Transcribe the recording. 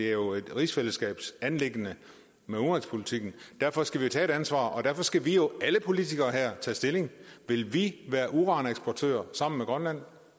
er jo et rigsfællesskabsanliggende derfor skal vi tage ansvar og derfor skal vi alle politikere her tage stilling vil vi være uraneksportør sammen med grønland